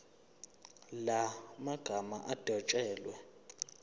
la magama adwetshelwe